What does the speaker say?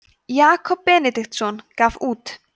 jakob benediktsson gaf út